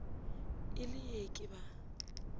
e le ee ke ba